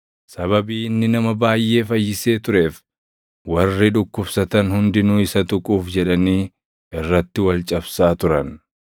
Sababii inni nama baayʼee fayyisee tureef, warri dhukkubsatan hundinuu isa tuquuf jedhanii irratti wal cabsaa turan.